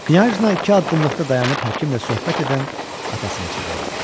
Knyajna iki addımlıqda dayanıb həkimlə söhbət edən atasını çağırdı.